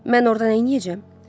Mən orda nə eləyəcəm?